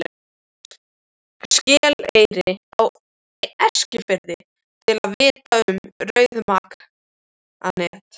Skeleyri á Eskifirði, til að vitja um rauðmaganet.